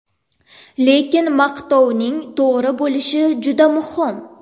Lekin maqtovning to‘g‘ri bo‘lishi juda muhim.